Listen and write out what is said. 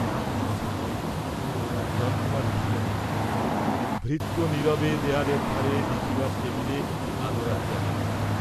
সন্ধ্যা হইল, হিরণকুমার উঠিলেন না, ভৃত্য নীরবে দেয়ালের ধারে লিখিবার টেবিলে একটি আলো রাখিয়া গেল।